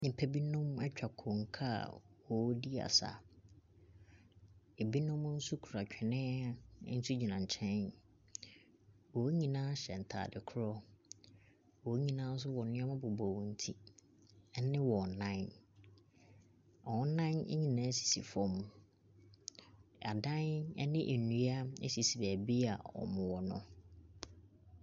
Nipa bi nom etwa konkaa wɔn di asa. Ebi nom so kura twene nso gyina nkyɛn. Wonyinaa hyɛ ntaade korɔ. Wonyinaa so wɔ neɛma bobɔ wɔn ti ɛne wɔn nan. Wɔn nan wonyinaa sisi fɔm. Adan ɛne ndua esisi bebia ɔmo wɔ no.